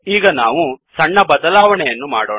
ಈಗ ನಾವು ಸಣ್ಣ ಬದಲಾವಣೆಯನ್ನು ಮಾಡೋಣ